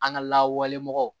An ka lawale mɔgɔw